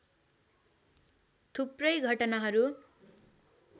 थुप्रै घटनाहरु